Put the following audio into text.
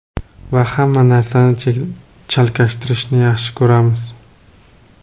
Va hamma narsani chalkashtirishni yaxshi ko‘ramiz.